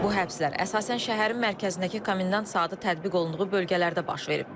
Bu həbslər əsasən şəhərin mərkəzindəki komendant saatı tətbiq olunduğu bölgələrdə baş verib.